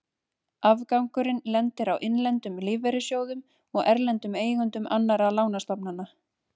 Afgangurinn lendir á innlendum lífeyrissjóðum og erlendum eigendum annarra lánastofnana.